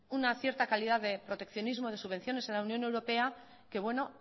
una cierta calidad de proteccionismo de subvenciones en la unión europea que bueno